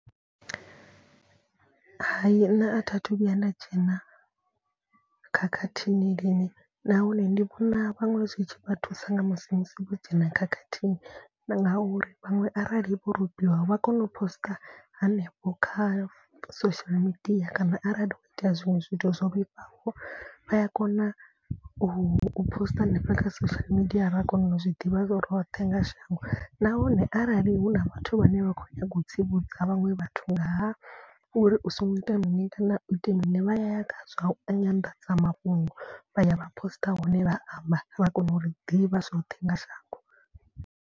Hayi nṋe a thi a thu vhuya nda dzhena khakhathini lini nahone ndi vhona vhaṅwe zwitshi vha thusa nga musi musi vho dzhena khakhathini. Ngauri vhaṅwe arali vho robiwa vha kona u poster hanefho kha social media. Kana arali ho itea zwiṅwe zwithu zwo vhifhaho vhaya kona u posiṱa hanefha kha social media ra kona u zwi ḓivha roṱhe nga shango. Nahone arali hu na vhathu vhane vha khou nyaga u tsivhudza vhaṅwe vhathu ngaha uri u songo ita mini kana u ite mini. Vha ya ya kha zwa nyanḓadzamafhungo vha ya vha poster hone vha amba vha kona u ri ḓivha zwoṱhe nga shango.